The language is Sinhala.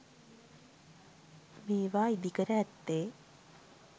මේවා ඉදිකර ඇත්තේ